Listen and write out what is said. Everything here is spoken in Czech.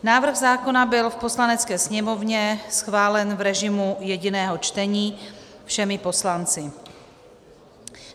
Návrh zákona byl v Poslanecké sněmovně schválen v režimu jediného čtení všemi poslanci.